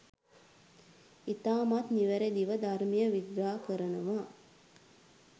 ඉතාමත් නිවැරදිව ධර්මය විග්‍රහ කරනවා